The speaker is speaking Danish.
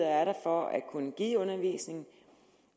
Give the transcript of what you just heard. er for at kunne give undervisning